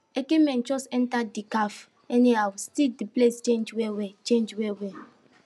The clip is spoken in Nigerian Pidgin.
eke men jux enter de caf anyhow still de place change well well change well well